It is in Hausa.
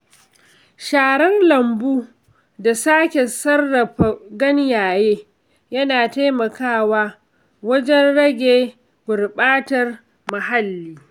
Sharar lambu da sake sarrafa ganyaye yana taimakawa wajen rage gurɓatar muhalli.